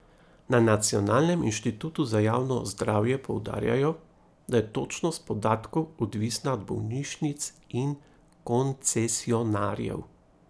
Na Nacionalnem inštitutu za javno zdravje poudarjajo, da je točnost podatkov odvisna od bolnišnic in koncesionarjev.